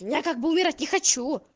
я как бы умирать не хочу